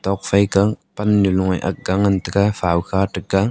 thoda kah pannu bu ga ngan taiga fakha taiga.